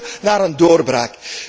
En dus moeten wij naar een doorbraak.